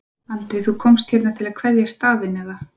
Andri: Þú komst hérna til að kveðja staðinn eða?